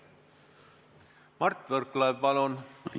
Mart Võrklaev, palun!